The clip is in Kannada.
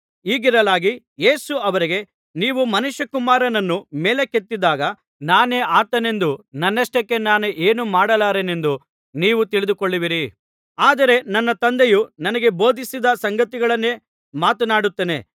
ಹೀಗಿರಲಾಗಿ ಯೇಸು ಅವರಿಗೆ ನೀವು ಮನುಷ್ಯಕುಮಾರನನ್ನು ಮೇಲಕ್ಕೆತ್ತಿದಾಗ ನಾನೇ ಆತನೆಂದೂ ನನ್ನಷ್ಟಕ್ಕೆ ನಾನೇ ಏನೂ ಮಾಡಲಾರೆನೆಂದು ನೀವು ತಿಳಿದುಕೊಳ್ಳುವಿರಿ ಆದರೆ ನನ್ನ ತಂದೆಯು ನನಗೆ ಬೋಧಿಸಿದ ಸಂಗತಿಗಳನ್ನೇ ಮಾತನಾಡುತ್ತೇನೆ